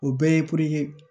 O bɛɛ ye